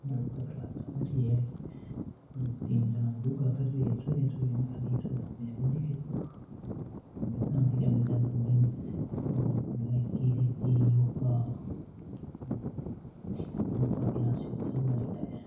Yoga class चाल रही है तीन जना योग कर रहे है छोरिया छोरिया है खाली छोरा तो कोई दिखे ना मैदान दिखे मैदान के मायने योगा योगा क्लास चले अठे।